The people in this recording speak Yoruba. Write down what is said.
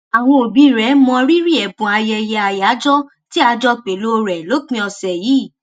àwọn òbí rè mọrírì èbùn ayẹyẹ àyájọ tí a jọ pèlò rẹ lópin òsè yìí